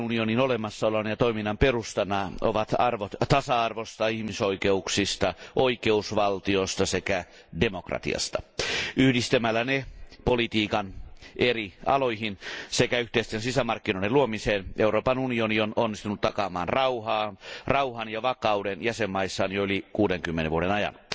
Euroopan unionin olemassaolon ja toiminnan perustana ovat arvot tasa arvosta, ihmisoikeuksista, oikeusvaltiosta sekä demokratiasta. Yhdistämällä ne politiikan eri aloihin sekä yhteisten sisämarkkinoiden luomiseen Euroopan unioni on onnistunut takaaman rauhan ja vakauden jäsenmaissaan jo yli 60 vuoden ajan.